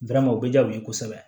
o bɛ diya u ye kosɛbɛ